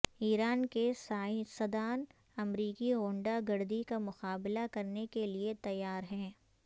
ایران کے سائنسدان امریکی غنڈہ گردی کا مقابلہ کرنے کے لئے تیار ہیں